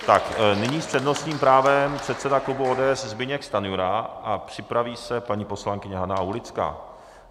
Tak nyní s přednostním právem předseda klubu ODS Zbyněk Stanjura a připraví se paní poslankyně Hana Aulická.